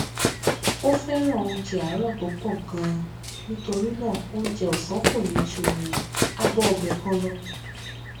ó fẹràn oúnjẹ àárò tó pò gan an nítorí náà oúnjẹ òsán kò ní ju abọ ọbẹ kan lọ